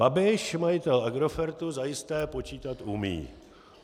Babiš, majitel Agrofertu, zajisté počítat umí.